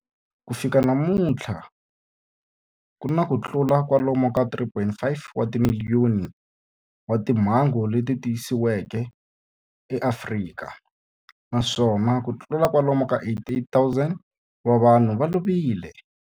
Ku fika namuntlha ku na kutlula kwalomu ka 3.5 wa timiliyoni wa timhangu leti tiyisisiweke eAfrika, naswona kutlula kwalomu ka 88,000 wa vanhu va lovile.